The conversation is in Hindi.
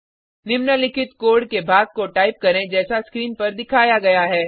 निम्नलिखित कोड के भाग को टाइप करें जैसा स्क्रीन पर दिखाया गया है